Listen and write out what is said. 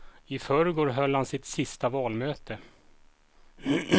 I förrgår höll han sitt sista valmöte.